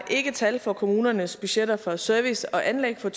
har ikke tal for kommunernes budgetter for service og anlæg for